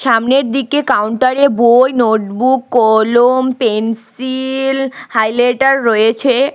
সামনের দিকে কাউন্টারে বই নোটবুক কলম পেন্সিল হাইলাইটার রয়েছে।